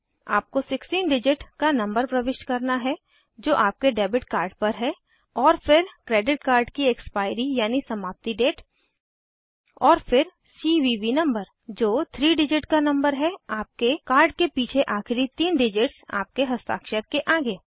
आपको 16 डिजिट का नंबर प्रविष्ट करना है जो आपके डेबिट कार्ड पर है और फिर क्रेडिट कार्ड की एक्सपायरी यानि समाप्ति डेट और फिर सीवीवी नंबर जो 3 डिजिट का नंबर है आपके कार्ड के पीछे आखिरी तीन डिजिट्स आपके हस्ताक्षर के आगे